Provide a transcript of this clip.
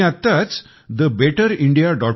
मी आत्ताच thebetterindia